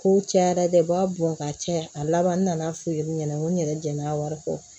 Kow cayara dɛ u b'a bɔn ka caya a laban nan'a f'u ye u ɲɛna n ko n yɛrɛ jɛna wari kɔ